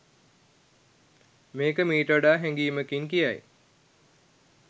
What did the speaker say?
මේක මීට වඩා හැඟීමකින් කියයි